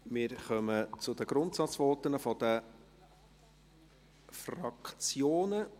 Wir kommen zu den Grundsatzvoten der Fraktionen.